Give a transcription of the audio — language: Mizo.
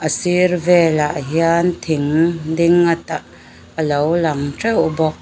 a sir velah hian thing ding a ta alo lang teuh bawk.